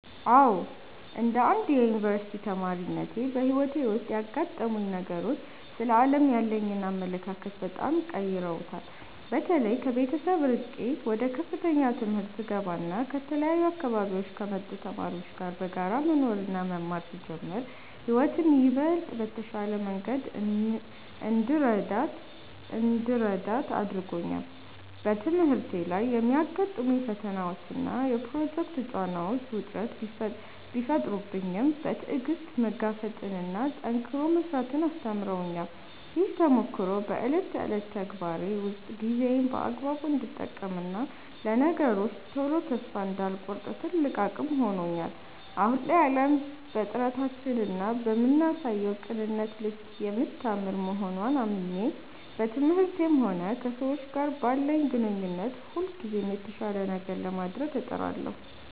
አዎ፣ እንደ አንድ የዩኒቨርሲቲ ተማሪነቴ በሕይወቴ ውስጥ ያጋጠሙኝ ነገሮች ስለ ዓለም ያለኝን አመለካከት በጣም ቀይረውታል። በተለይ ከቤተሰብ ርቄ ወደ ከፍተኛ ትምህርት ስገባና ከተለያዩ አካባቢዎች ከመጡ ተማሪዎች ጋር በጋራ መኖርና መማር ስጀምር ሕይወትን ይበልጥ በተሻለ መንገድ እንድረዳት አድርጎኛል። በትምህርቴ ላይ የሚያጋጥሙኝ ፈተናዎችና የፕሮጀክት ጫናዎች ውጥረት ቢፈጥሩብኝም፣ በትዕግሥት መጋፈጥንና ጠንክሮ መሥራትን አስተምረውኛል። ይህ ተሞክሮ በዕለት ተዕለት ተግባሬ ውስጥ ጊዜዬን በአግባቡ እንድጠቀምና ለነገሮች ቶሎ ተስፋ እንዳልቆርጥ ትልቅ አቅም ሆኖኛል። አሁን ላይ ዓለም በጥረታችንና በምናሳየው ቅንነት ልክ የምታምር መሆንዋን አምኜ፣ በትምህርቴም ሆነ ከሰዎች ጋር ባለኝ ግንኙነት ሁልጊዜም የተሻለ ነገር ለማድረግ እጥራለሁ።